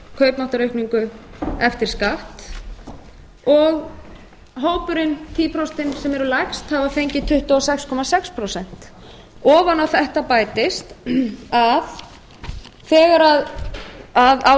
kaupmáttaraukning eftir skatt og hópurinn tuttugu prósent sem eru lægst hafa fengið tuttugu og sex komma sex prósent ofan á þetta bætist að á